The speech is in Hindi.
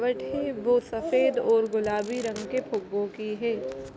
वठे है वो सफेद और गुलाबी रंग के फुग्गो की है।